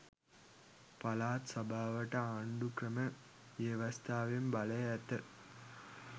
පලාත් සභාවට ආන්ඩුක්‍රම ව්‍යවස්ථාවෙන් බලය ඇත